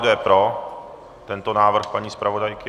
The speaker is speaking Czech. Kdo je pro tento návrh paní zpravodajky?